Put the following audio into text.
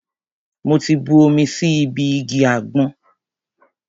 Mo ti bu omi sí ibi igi àgbọn.